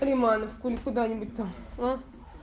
романов куда нибудь там